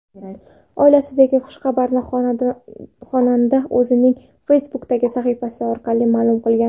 Oilasidagi xushxabarni xonanda o‘zining Facebook’dagi sahifasi orqali ma’lum qilgan .